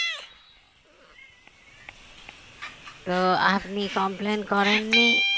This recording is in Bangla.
তো আপনি complain করেননি